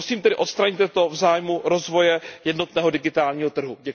Prosím tedy, odstraňte to v zájmu rozvoje jednotného digitálního trhu.